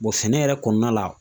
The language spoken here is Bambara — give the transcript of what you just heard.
sɛnɛ yɛrɛ kɔnɔna la